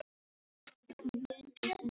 Ég kann vel við þennan strák.